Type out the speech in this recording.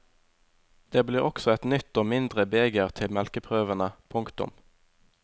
Det blir også et nytt og mindre beger til melkeprøvene. punktum